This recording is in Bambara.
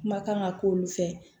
Kuma kan ka k'olu fɛ